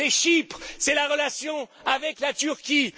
C'est Chypre, c'est la relation avec la Turquie.